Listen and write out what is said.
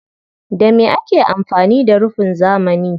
Da me ake amfani da rufin zamani?